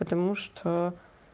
потому что